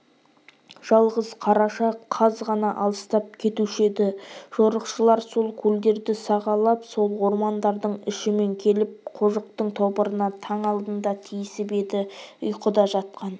жалғыз қараша қаз ғана алыстап кетуші еді жорықшылар сол көлдерді сағалап сол ормандардың ішімен келіп қожықтың тобырына таң алдында тиісіп еді ұйқыда жатқан